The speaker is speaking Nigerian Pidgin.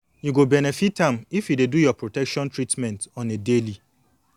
you go benefit am if you dey do your protection treatment on a daily